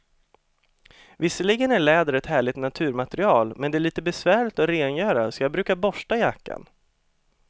Visserligen är läder ett härligt naturmaterial, men det är lite besvärligt att rengöra, så jag brukar borsta jackan.